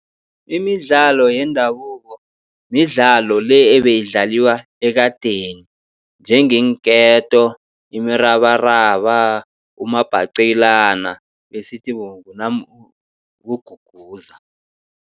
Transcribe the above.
Imidlalo yendabuko, midlalo le ebeyidlaliwa ekadeni njengeenketo, imirabaraba, umabhacelana besithi